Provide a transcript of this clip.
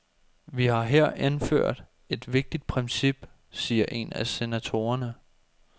Vi har her indført et vigtigt princip, siger en af senatorerne.